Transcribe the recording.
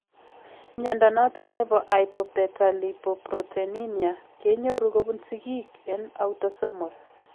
Mnyondo noton nebo Hypobetalipoproteinemia ke nyoru kobun sigiik en autosomal